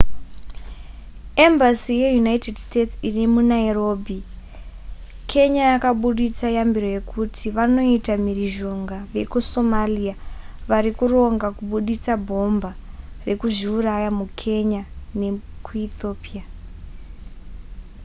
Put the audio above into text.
embassy yeunited states irimunairobi kenya yakaburitsa yambiro yekuti vanoita mhirizhonga vekusomalia varikuronga kuburitsa bhomba rekuzviuraya mukenya nekuethiopia